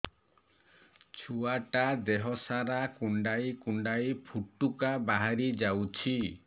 ଛୁଆ ଟା ଦେହ ସାରା କୁଣ୍ଡାଇ କୁଣ୍ଡାଇ ପୁଟୁକା ବାହାରି ଯାଉଛି